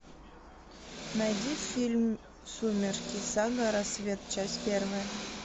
найди фильм сумерки сага рассвет часть первая